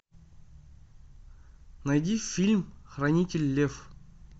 найди фильм хранитель лев